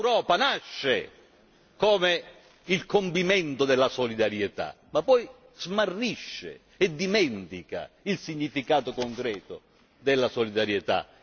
L'Europa nasce come il condimento della solidarietà ma poi smarrisce e dimentica il significato concreto della solidarietà.